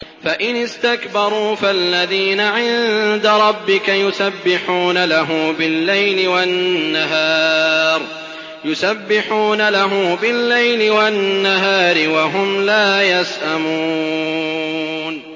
فَإِنِ اسْتَكْبَرُوا فَالَّذِينَ عِندَ رَبِّكَ يُسَبِّحُونَ لَهُ بِاللَّيْلِ وَالنَّهَارِ وَهُمْ لَا يَسْأَمُونَ ۩